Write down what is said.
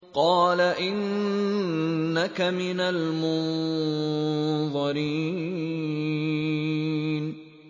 قَالَ إِنَّكَ مِنَ الْمُنظَرِينَ